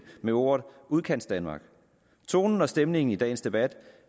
med ordet udkantsdanmark tonen og stemningen i dagens debat